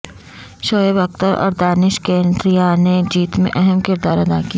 شعیب اختر اور دانش کنیریا نے جیت میں اہم کردار ادا کیا